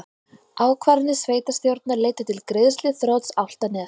Ákvarðanir sveitarstjórnar leiddu til greiðsluþrots Álftaness